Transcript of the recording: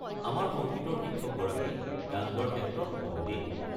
আমাৰ সংগীতৰ শিক্ষকগৰাকী গান গোৱাৰ ক্ষেত্ৰত পণ্ডিত।